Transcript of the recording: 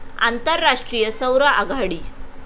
आंतरराष्ट्रीय सौर आघाडी